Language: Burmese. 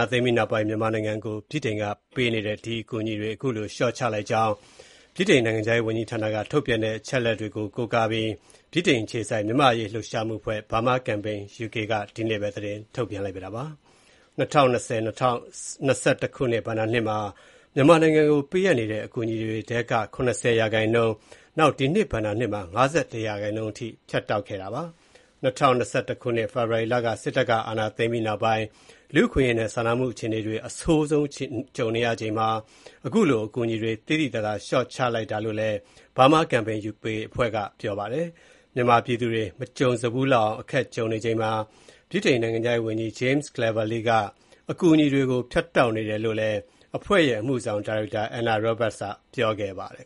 ာသိမ်းပြီးနောက်ပိုင်း မြန်မာနိုင်ငံကို ဗြိတိန်က ပေးအပ်နေတဲ့ အကူအညီတွေ ၇၀ ရာခိုင်နှုန်းအထိ လျှော့ချလိုက်ကြောင်း နိုင်ငံခြားရေးဌာနက ထုတ်ပြန်တဲ့ အချက်အလက်တွေကို ကိုးကားပြီး ဗြိတိန်အခြေစိုက် မြန်မာ့အရေး လှုပ်ရှားမှုအဖွဲ့ (Burma Campaign UK) က ဒီကနေ့ပဲ သတင်းထုတ်ပြန်လိုက်ပါတယ်။ ၂၀၂၀-၂၀၂၁ ခုနှစ် ဘဏ္ဍာနှစ်မှာ မြန်မာနိုင်ငံကို ပေးအပ်နေတဲ့ အကူအညီတွေထဲက ၇၀ ရာခိုင်နှုန်း၊ ဒီနှစ်ဘဏ္ဍာနှစ်မှာ ၅၁ ရာခိုင်နှုန်း ဖြတ်တောက်ခဲ့တာပါ။ ၂၀၂၁ ခုနှစ် ဖေဖော်ဝါရီလ စစ်တပ်က အာဏာသိမ်းပြီးနောက်ပိုင်း လူအခွင့်အရေးနဲ့ စာနာမှုအခြေအနေတွေ အဆိုးဆုံးကြုံနေရချိန်မှာ အခုလို အကူအညီတွေ သိသိသာသာ လျှော့ချခဲ့တာလို့လည်း Burma Campaign UK အဖွဲ့က ပြောပါတယ်။ မြန်မာပြည်သူတွေ မကြုံဖူးလောက်အောင် အခက်ကြုံနေချိန်မှာ နိုင်ငံခြားရေးဝန်ကြီး James Cleverly က အကူအညီတွေကို ဖြတ်တောက်နေတယ်လို့လည်း အဖွဲ့ရဲ့ အမှုဆောင်ဒါရိုက်တာ Anna Roberts ကပြောပါတယ်